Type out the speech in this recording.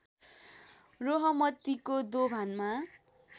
रोहमतीको दोभानमा